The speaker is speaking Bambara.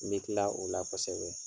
N bi kila o la kosɛbɛ.